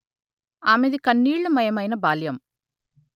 ఆమెది కన్నీళ్లమయమైన బాల్యం